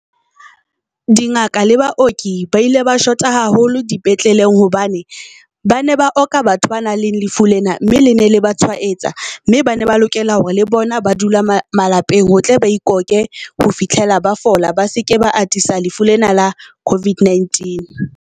Dingaka le baoki ba ile ba shota haholo dipetleleng hobane ba ne ba oka batho ba nang le lefu lena, mme le ne le ba tshwaetsa. Mme ba ne ba lokela hore le bona ba dula malapeng, ho tle ba ikhokhe ho fihlela ba fola. Ba seke ba atisa lefu lena la COVID-19.